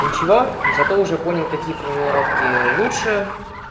ничего зато уже понял какие формулировки лучше